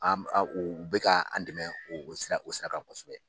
An an u bɛ ka an dɛmɛ o o sira o sira kan kosɛbɛ.